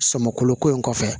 Sɔmoloko in kɔfɛ